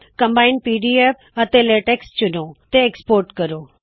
combined PDF and LaTeX ਚੁਣੋ ਤੇ export ਕਰੋ